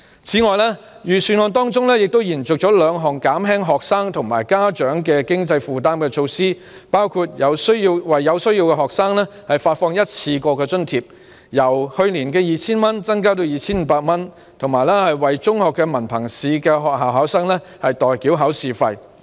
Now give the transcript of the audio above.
此外，預算案延續了兩項減輕學生和家長經濟負擔的措施，包括為有需要學生發放一次性津貼，津貼額亦由去年的 2,000 元增至 2,500 元，以及為中學文憑試學校考生代繳考試費。